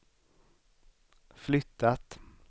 flyttat